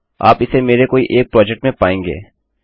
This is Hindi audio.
आप इसे मेरे कोई एक प्रोजेक्ट में पायेंगे